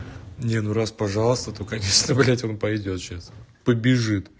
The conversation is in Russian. не ну раз пожалуйста то конечно блять он пойдёт сейчас побежит